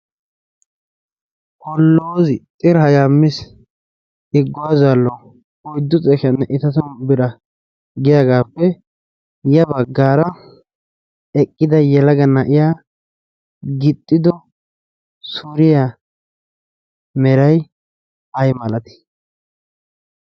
Polozi xirihayaamis igguwaazaalo oyddu xefhiyaanne itatun bira giyaagaappe ya baggaara eqqida yelaga na'iya gixxido suriyaa meray ay malati?